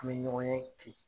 An mi ɲɔgɔn ye ten